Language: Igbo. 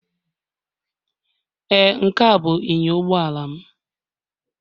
Ee, Nkea bụ inyo ụgbọala m